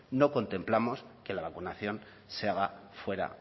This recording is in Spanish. no contemplamos que la vacunación se haga fuera